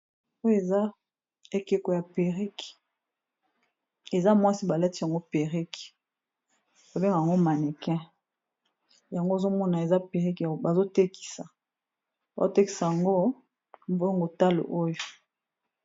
Oyo eza ekeko ya perrique eza mwasi ba latisi yango perrique. Ba bengaka yango mannequin yango ozo mona eza perrique bazo tekisa, ba tekisa yango mbongo talo oyo.